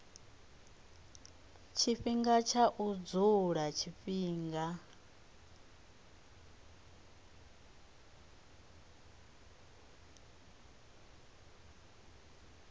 tshifhinga tsha u dzula tshifhinga